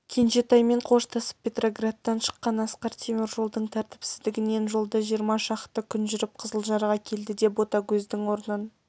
кенжетаймен қоштасып петроградтан шыққан асқар темір жолдың тәртіпсіздігінен жолда жиырма шақты күн жүріп қызылжарға келді де ботагөздің орнын